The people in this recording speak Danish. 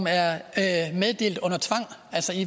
er at